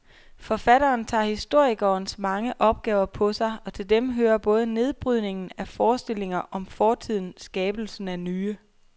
Forfatteren tager historikerens mange opgaver på sig, og til dem hører både nedbrydningen af forestillinger om fortiden skabelsen af nye.